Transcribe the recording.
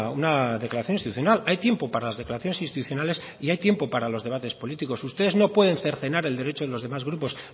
una declaración institucional hay tiempo para las declaraciones institucionales y hay tiempo para los debates políticos ustedes no pueden cercenar el derecho de los demás grupos